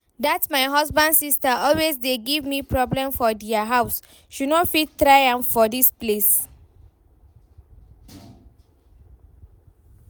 Dat my husband sister always dey give me problem for dia house, she no fit try am for dis place